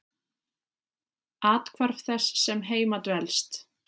Athvarf þess sem heima dvelst.